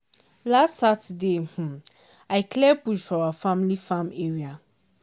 last saturday um i clear bush for our family farm area.